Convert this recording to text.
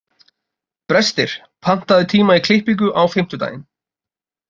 Brestir, pantaðu tíma í klippingu á fimmtudaginn.